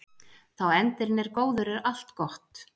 Þá endirinn er góður er allt gott.